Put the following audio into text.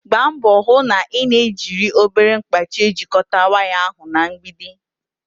gbaa mbọ hụ na ị na-ejiri obere mkpachị ejikọta waya ahụ na mgbidi.